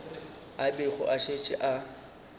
a bego a šetše a